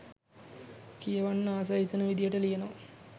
කියවන්න ආස හිතෙන විදියට ලියනව